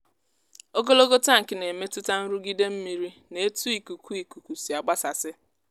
um a na-edobe ogo mmiri um n’odọ mmiri site n’iji mmiri si n’mmirikisi ma ọ bụ sistemụ ịnakọta mmiri ozuzo